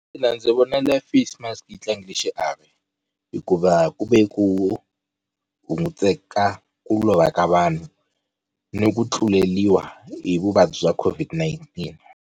Mina ndzi vonile face mask yi tlangile xiave hikuva ku ve ku hunguteka ku lova ka vanhu ni ku tluleriwa hi vuvabyi bya COVID-19.